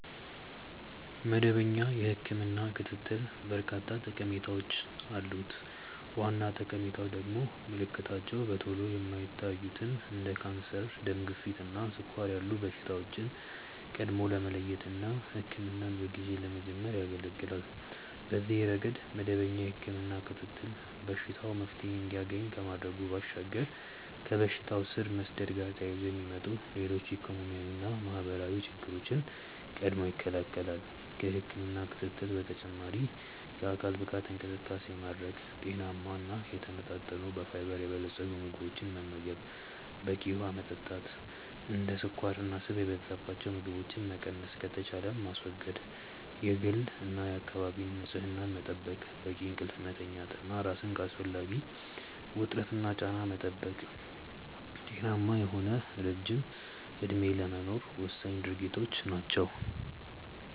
መደበኛ የህክምና ክትትል በርካታ ጠቀሜታዎች አሉት። ዋና ጠቀሜታው ደግሞ ምልክታቸው በቶሎ የማይታዩትን እንደ ካንሰር፣ ደም ግፊት እና ስኳር ያሉ በሽታዎችን ቀድሞ ለመለየት እና ህክምናን በጊዜ ለመጀመር ያገለገላል። በዚህ ረገድ መደበኛ የህክምና ክትትል በሽታው መፍትሔ እንዲያገኝ ከማድረጉ ባሻገር ከበሽታው ስር መስደድ ጋር ተያይዞ የሚመጡ ሌሎች ኢኮኖሚያዊና ማህበራዊ ችግሮችን ቀድሞ ይከለከላል። ከህክምና ክትትል በተጨማሪ የአካል ብቃት እንቅስቃሴ ማድረግ፣ ጤናማ እና የተመጣጠኑ በፋይበር የበለፀጉ ምግቦችን መመገብ፣ በቂ ውሀ መጠጣት፣ እንደ ስኳርና ስብ የበዛባቸው ምግቦችን መቀነስ ከተቻለም ማስወገድ፣ የግልና የአካባቢ ንጽህና መጠበቅ፣ በቂ እንቅልፍ መተኛት እና ራስን ከአላስፈላጊ ውጥረትና ጫና መጠበቅ ጤናማ የሆነ ረጅም እድሜ ለመኖር ወሳኝ ድርጊቶች ናቸው።